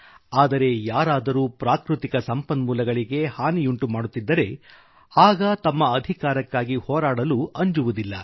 ಆದರೆ ಯಾರಾದರೂ ಪ್ರಾಕೃತಿಕ ಸಂಪನ್ಮೂಲಗಳಿಗೆ ಹಾನಿಯುಂಟುಮಾಡುತ್ತಿದ್ದರೆ ಆಗ ತಮ್ಮ ಅಧಿಕಾರಕ್ಕಾಗಿ ಹೋರಾಡಲೂ ಅಂಜುವುದಿಲ್ಲ